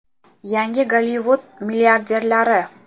Yangi Gollivud milliarderlari.